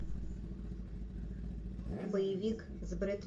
боевик с брэд